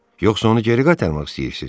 Yoxsa onu geri qaytarmaq istəyirsiz?